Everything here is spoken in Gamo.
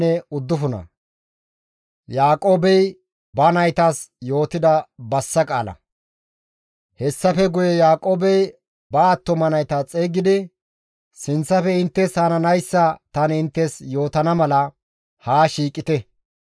Hessafe guye Yaaqoobey ba attuma nayta xeygidi, «Sinththafe inttes hananayssa tani inttes yootana mala haa shiiqite.